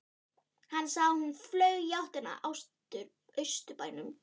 Hann sá að hún flaug í áttina að Austurbænum.